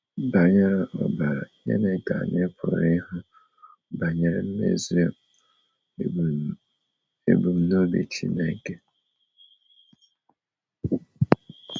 Banyere ọbara, gịnị ka anyị pụrụ ịhụ banyere mmezu ebumnobi Chineke?